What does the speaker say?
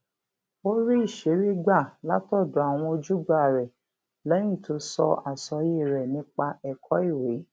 ó rí ìṣírí gbà látòdò àwọn ojúgbà rè léyìn tó sọ àsọyé rè nípa èkó ìwé